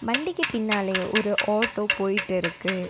வண்டிக்கு பின்னாலயே ஒரு ஆட்டோ போயிட்டு இருக்கு.